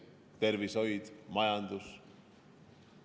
Tervishoid, majandus.